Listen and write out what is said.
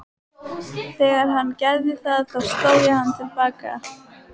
Þegar hann gerði það þá sló ég hann til baka.